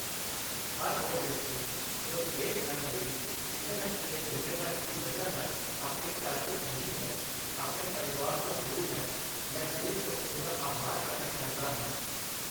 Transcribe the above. ਹਰ ਉਹ ਵਿਅਕਤੀ ਜੋ ਦੇਸ਼ ਨਾਲ ਜੁੜੀ ਕਿਸੇ ਨਾ ਕਿਸੇ ਜ਼ਿੰਮੇਵਾਰੀ ਦੀ ਵਜ੍ਹਾ ਨਾਲ ਆਪਣੇ ਘਰ ਵਿੱਚ ਨਹੀਂ ਹੈ, ਆਪਣੇ ਪਰਿਵਾਰ ਤੋਂ ਦੂਰ ਹੈ ਮੈਂ ਦਿਲ ਤੋਂ ਉਸ ਦਾ ਆਭਾਰ ਪ੍ਰਗਟ ਕਰਦਾ ਹਾਂ।